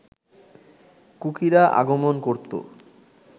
কুকিরা আগমন করত